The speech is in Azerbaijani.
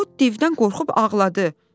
O divdən qorxub ağladı.